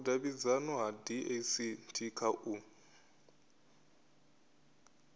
vhudavhidzano ha dacst kha u